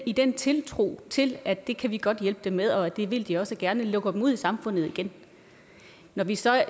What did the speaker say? i den tiltro til at det kan vi godt hjælpe dem med og det vil de også gerne lukker dem ud i samfundet igen når vi så